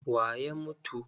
Wa ya mutu?